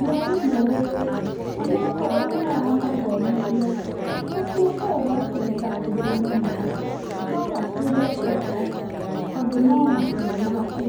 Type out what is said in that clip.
mwarimũ ũyũ ona akorwo nĩ aramathomithia, gakuo kau gake nĩ gakuhĩ mũno, no gakĩrĩ o kega tondũ no matua make.